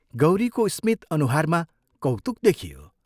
गौरीको स्मित अनुहारमा कौतुक देखियो।